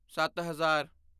ਸੱਤ ਹਜ਼ਾਰ